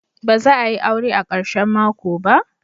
Ba za a yi aure a karshen mako ba?